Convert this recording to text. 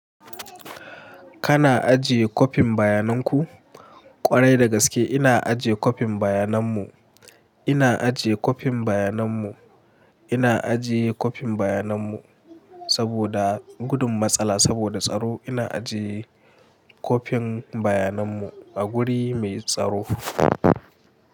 Kana ajiye kopin bayanan ku? Kwarai da gaske ina ajiye kopin bayanan mu. Ina ajiye kopin bayanan mu. Ina ajiye kopin bayanan mu saboda gudun matsala saboda tsaro. Ina ajiye kopin bayanan mu a guri mai tsaro.